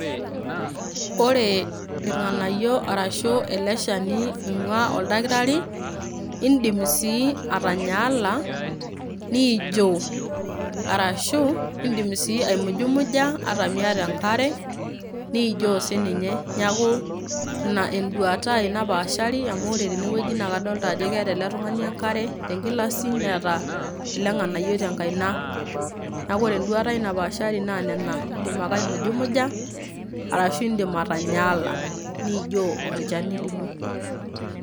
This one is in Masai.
ore irng'anayio arashu ele shani oing'ua oldakitari, indim sii atanyaala niijio. Arashu indim sii aimujumuja ata miata enkare niijio sininye neeku ina enduata ai napaashari amu ore tenewueji naa kadolta ajo keeta ele tung'ani enkare tenkilasi neeta ele ng'anayioi tenkaina niaku. ore enduata ai napaashari naa nena indim ake aimujumuja arashu indim atanyaala niijio olchani lino.